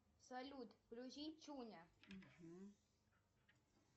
салют включи чуня